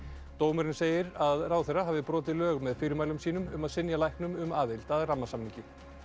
dómurinn segir að ráðherra hafi brotið lög með fyrirmælum sínum um að synja læknum um aðild að rammasamningi